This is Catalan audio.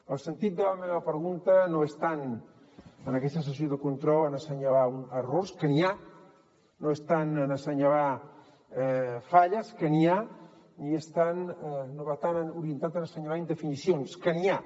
el sentit de la meva pregunta no és tant en aquesta sessió de control en assenyalar errors que n’hi ha no és tant en assenyalar falles que n’hi ha ni va tan orientat en assenyalar indefinicions que n’hi ha